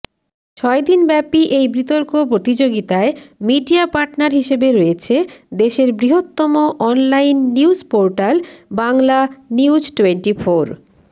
ছয় দিনব্যাপী এই বিতর্ক প্রতিযোগিতায় মিডিয়া পার্টনার হিসেবে রয়েছে দেশের বৃহত্তম অনলাইন নিউজ পোর্টাল বাংলানিউজটোয়েন্টিফোর